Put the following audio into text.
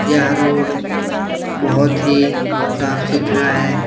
यह रोड बहुत ही साफ़ सुथरा है।